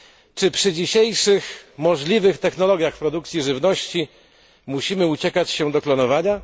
Czy przy dzisiejszych możliwych technologiach produkcji żywności musimy uciekać się do klonowania?